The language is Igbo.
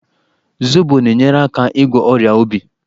Zobo na-enyere aka ịgwọ ọrịa obi.